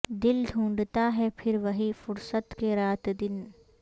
دل ڈھونڈھتا ہے پھر وہی فرصت کے رات دن